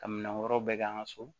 Ka minɛn wɛrɛw bɛ kɛ an ka so